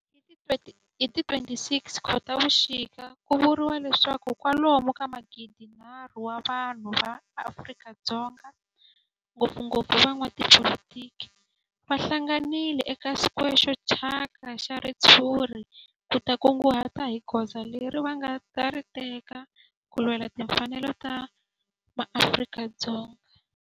Hi ti 26 Khotavuxika ku vuriwa leswaku kwalomu ka magidi-nharhu wa vanhu va Afrika-Dzonga, ngopfungopfu van'watipolitiki va hlanganile eka square xo thyaka xa ritshuri ku ta kunguhata hi goza leri va nga ta ri teka ku lwela timfanelo ta maAfrika-Dzonga.